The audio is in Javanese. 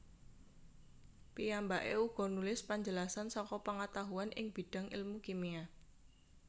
Piyambaké uga nulis penjelasan saka pengetahuan ing bidang ilmu kimia